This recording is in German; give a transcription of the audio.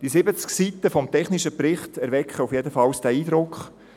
Die 70 Seiten des technischen Berichts erwecken jedenfalls diesen Eindruck.